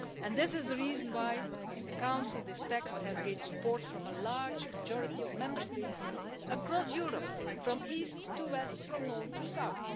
This is the reason why in the Council this text has gained support from a large majority of Member States across Europe, from east to west and from north to south.